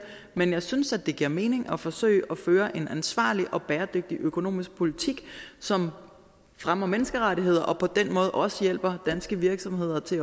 men jeg synes det giver mening at forsøge at føre en ansvarlig og bæredygtig økonomisk politik som fremmer menneskerettigheder og som på den måde også hjælper danske virksomheder til